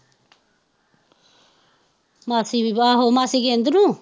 ਮਾਸੀ ਵੀ ਆਹੋ ਮਾਸੀ ਗਿੰਦ ਨੂੰ